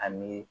Ani